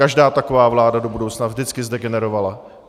Každá taková vláda do budoucna vždycky zdegenerovala.